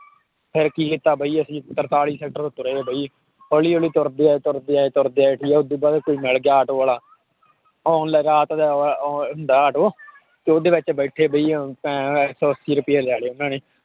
ਫਿਰ ਕੀ ਕੀਤਾ ਬਾਈ ਅਸੀਂ ਤਰਤਾਲੀ sector ਤੋਂ ਤੁਰੇ ਬਾਈ ਹੌਲੀ ਹੌਲੀ ਤੁਰਦੇ ਆਏ, ਤੁਰਦੇ ਆਏ, ਤੁਰਦੇ ਆਏ ਠੀਕ ਹੈ, ਉਹ ਤੋਂ ਬਾਅਦ ਕੋਈ ਮਿਲ ਗਿਆ ਆਟੋ ਵਾਲਾ ਹੁੰਦਾ ਹੈ ਆਟੋ ਤੇ ਉਹਦੇ ਵਿੱਚ ਬੈਠੇ ਵੀ ਇੱਕ ਸੌ ਅੱਸੀ ਰੁਪਏ ਲੈ ਲਏ ਉਹਨਾਂ ਨੇ।